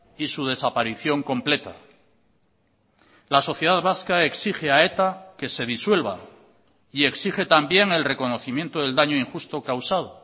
y su desaparición completa la sociedad vasca exige a eta que se disuelva y exige también el reconocimiento del daño injusto causado